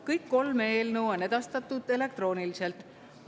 Kõik kolm eelnõu on edastatud elektrooniliselt.